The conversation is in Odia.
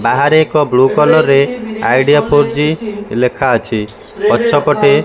ବାହାରେ ଏକ ବ୍ଲୁ କଲର୍ ରେ ଆଇଡିଆ ଫୋର ଜି ଲେଖା ଅଛି ପଛପଟେ --